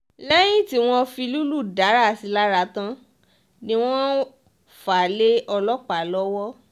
lẹ́yìn tí wọ́n fi lílù dárà sí i lára tán ni wọ́n fà á lé ọlọ́pàá lọ́wọ́